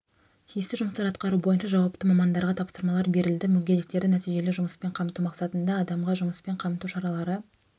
тиісті жұмыстар атқару бойынша жауапты мамандарға тапсырмалар берілді мүгедектерді нәтижелі жұмыспен қамту мақсатында адамға жұмыспен қамту шаралары